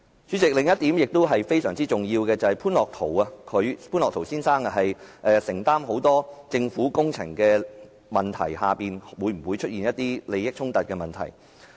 主席，另一個非常重要的問題就是，潘樂陶先生承接很多政府工程，當中會否涉及利益衝突。